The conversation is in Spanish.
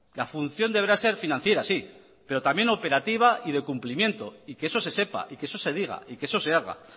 la función deberá ser financiera sí pero también operativa y de cumplimiento y que eso se sepa y que eso se diga y que eso se haga